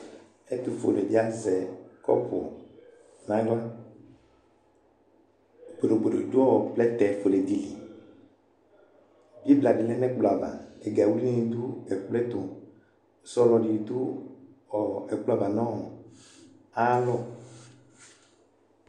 Etʋfuenɩ dɩ azɛ kɔpʋ n'aɣla Bodobododʋ ɔ plɛtɛ fuele dɩ li ɛgadɩnɩ lɛ n'ɛkplɔ ava ,ɛga wiliwili wanɩ dʋ ɛkploɛtʋ Sɔlɔnɩ dʋ ɔɔ ɛkplɔava n'ayalɔ